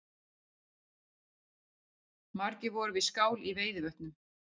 Margir voru við skál í Veiðivötnum